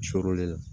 Surɔ